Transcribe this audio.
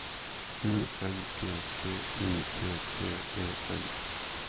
U N G G U T T E N